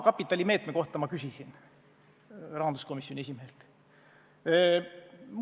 Näiteks ma küsisin rahanduskomisjoni esimehelt maakapitali meetme kohta.